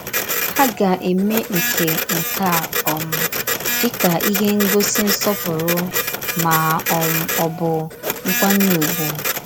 Há gà-èmé nke nke a um dì kà íhè ngòsí nsọ̀pùrù mà um ọ̀ bụ nkwànyè ùgwù.